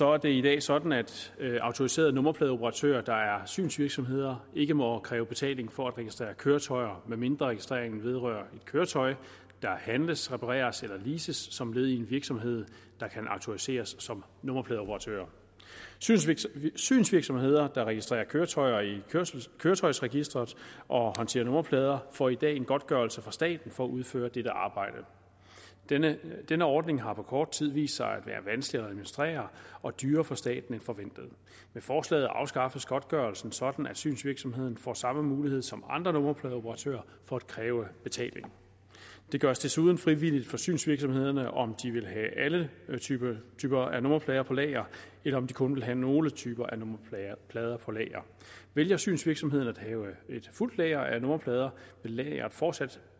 er det i dag sådan at autoriserede nummerpladeoperatører der er synsvirksomheder ikke må kræve betaling for at registrere køretøjer medmindre registreringen vedrører et køretøj der handles repareres eller leases som led i en virksomhed der kan autoriseres som nummerpladeoperatør synsvirksomheder synsvirksomheder der registrerer køretøjer i køretøjsregisteret og håndterer nummerplader får i dag en godtgørelse fra staten for at udføre dette arbejde denne denne ordning har på kort tid vist sig at være vanskelig at administrere og dyrere for staten end forventet med forslaget afskaffes godtgørelsen sådan at synsvirksomheden får samme mulighed som andre nummerpladeoperatører for at kræve betaling det gøres desuden frivilligt for synsvirksomhederne om de vil have alle typer typer af nummerplader på lager eller om de kun vil have nogle typer af nummerplader på lager vælger synsvirksomhederne at have et fuldt lager af nummerplader vil lageret fortsat